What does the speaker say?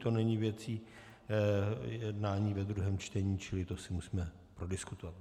To není věcí jednání ve druhém čtení, čili to si musíme prodiskutovat.